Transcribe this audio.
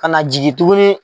Ka na jigin tuguni.